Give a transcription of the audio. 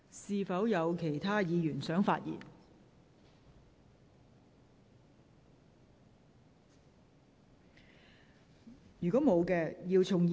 是否有其他議員想發言？